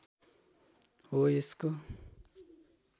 हो यसको